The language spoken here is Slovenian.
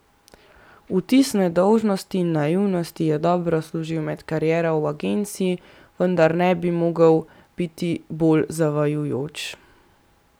Vtis nedolžnosti in naivnosti ji je dobro služil med kariero v agenciji, vendar ne bi mogel biti bolj zavajajoč.